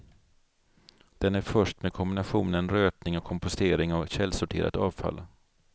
Den är först med kombinationen rötning och kompostering av källsorterat avfall.